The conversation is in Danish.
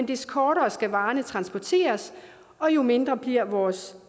des kortere skal varerne transporteres og jo mindre bliver vores